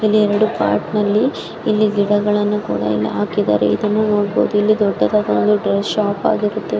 ಇಲ್ಲಿ ಎರಡು ಪಾರ್ಟ್ ನಲ್ಲಿ ಇಲ್ಲಿ ಗಿಡಗಳನ್ನು ಕೂಡ ಇಲ್ಲಿ ಹಾಕಿದ್ದಾರೆ ಇದು ದೊಡ್ಡದಾದ ಒಂದು ಡ್ರೆಸ್ ಶಾಪ್ ಆಗಿರುತ್ತೆ.